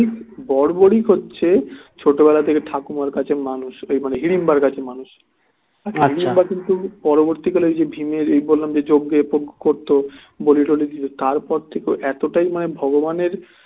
বর্বরী হচ্ছে ছোট বেলা থেকে ঠাকুমার কাছে মানুষ ওই মানে হিড়িম্বার কাছে মানুষ হিড়িম্বা কিন্তু পরবর্তী কালে ভীমের এই বললাম যে যোগ্যে করতো বলি টোলি দিতো তারপর থেকে ও এতটাই মানে ভগবানের